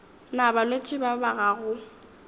na balwetši ba ba gago